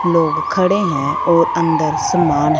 लोग खड़े हैं और अंदर सामान है।